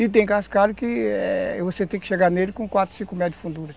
E tem cascalho que você tem que chegar nele com quatro ou cinco metros de fundura.